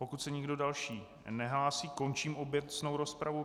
Pokud se nikdo další nehlásí, končím obecnou rozpravu.